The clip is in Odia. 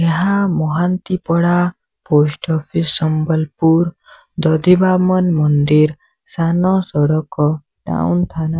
ଏହା ମହାନ୍ତି ପଡା ପୋଷ୍ଟ ଅଫିସ୍ ସମ୍ବଲପୁର ଦଧିବାମନ ମନ୍ଦିର ସାନ ସଡକ ଟାଉନ ଥାନା।